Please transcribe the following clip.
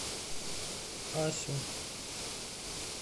асю